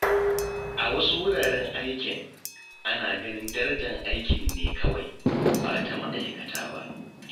A wasu wuraren aikin, ana ganin darajar aiki ne kawai, ba ta ma’aikata ba.